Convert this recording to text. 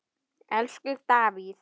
Elsku Davíð.